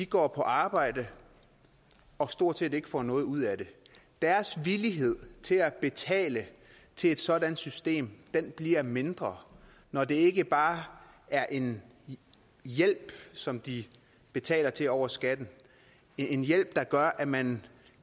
gå på arbejde og stort set ikke får noget ud af det deres villighed til at betale til et sådant system bliver mindre når det ikke bare er en hjælp som de betaler til over skatten en hjælp der gør at man